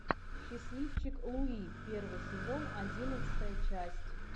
счастливчик луи первый сезон одиннадцатая часть